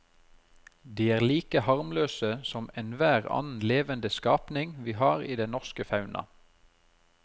De er like harmløse som enhver annen levende skapning vi har i den norske fauna.